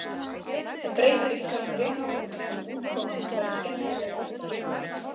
Það breytir ekki sjálfum réttinum, en útkoman verður skemmtilegri og persónulegri.